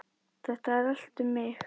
Þetta er allt um mig!